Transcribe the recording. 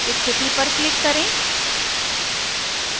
स्थिति पर click करें